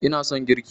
ina son girki